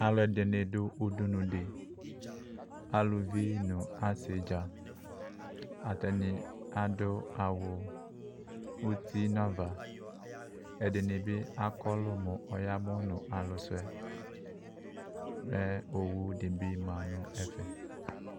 Alʋɛdɩnɩ dʋ udunu dɩ aluvi nʋ asɩnɩ atanɩ adʋ awʋ iti nu ava ɛdɩnɩbɩ akɔlʋ mʋ aya mʋnʋ akʋ suɛ kʋ owu dɩbɩ la nʋ ɛfɛ